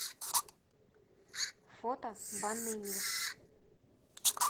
фото банный мир